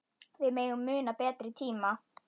Við megum muna betri tíma.